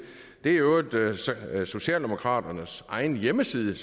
er i øvrigt socialdemokraternes egen hjemmeside